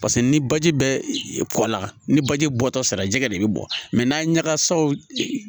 Paseke ni baji bɛ kɔ la ni baji bɔtɔ sera jɛgɛ de bɛ bɔ n'a ɲagasaw